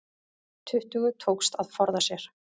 Tuttugu tókst að forða sér